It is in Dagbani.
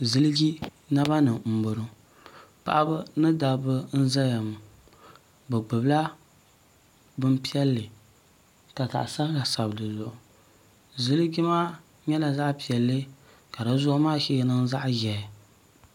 ziliji nabani n boŋɔ paɣ' ba ni dabiba n ʒɛya ŋɔ be gbabila bɛnpiɛli ka zaɣ' sabila sabidizuɣ' ziliji maa nyɛla zaɣ' piɛli ka di zuɣ' maa shɛɛ niŋ zaɣ' ʒiɛhi